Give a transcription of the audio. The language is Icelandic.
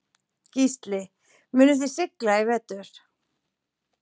Gísli: Munuð þið sigla í vetur?